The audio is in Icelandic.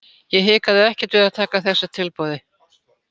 Ég hikaði ekkert við að taka þessu tilboði.